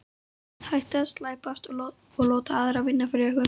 Hættið að slæpast og láta aðra vinna fyrir ykkur.